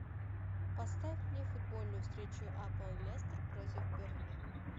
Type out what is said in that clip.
поставь мне футбольную встречу апл лестер против бернли